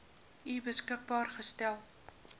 u beskikbaar gestel